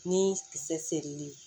Ni kisɛ serili